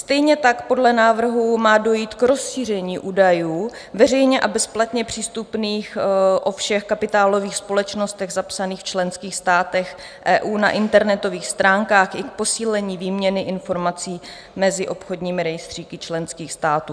Stejně tak podle návrhů má dojít k rozšíření údajů veřejně a bezplatně přístupných o všech kapitálových společnostech zapsaných v členských státech EU na internetových stránkách i k posílení výměny informací mezi obchodními rejstříky členských států.